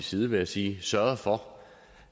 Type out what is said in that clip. side vil jeg sige sørget for